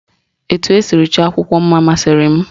Etu esiri chọọ akwụkwọ mma masịrị m